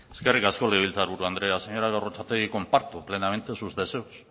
eskerrik asko legebiltzarburu andrea señora gorrotxategi comparto plenamente sus deseos